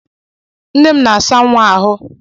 Nne m na-asa nwa ahụ.